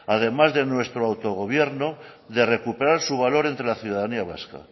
además de nuestro autogobierno de recuperar su valor entre la ciudadanía vasca